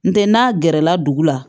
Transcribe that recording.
N tɛ n'a gɛrɛla dugu la